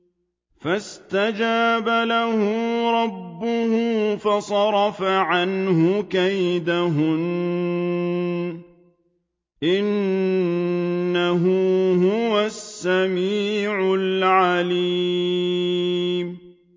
فَاسْتَجَابَ لَهُ رَبُّهُ فَصَرَفَ عَنْهُ كَيْدَهُنَّ ۚ إِنَّهُ هُوَ السَّمِيعُ الْعَلِيمُ